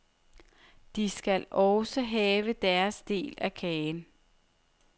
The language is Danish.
De skal også have deres del af kagen.